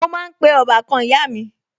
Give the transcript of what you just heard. Mo máa ń pe ń pe ọbàkan ìyá mi